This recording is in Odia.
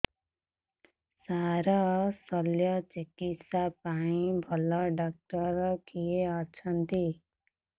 ସାର ଶଲ୍ୟଚିକିତ୍ସା ପାଇଁ ଭଲ ଡକ୍ଟର କିଏ ଅଛନ୍ତି